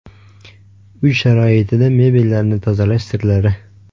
Uy sharoitida mebellarni tozalash sirlari.